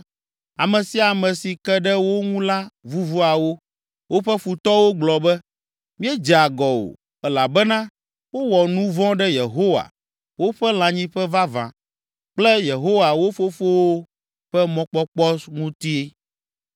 Ame sia ame si ke ɖe wo ŋu la vuvua wo; woƒe futɔwo gblɔ be, ‘Míedze agɔ o, elabena wowɔ nu vɔ̃ ɖe Yehowa, woƒe lãnyiƒe vavã, kple Yehowa wo fofowo ƒe mɔkpɔkpɔ ŋuti?’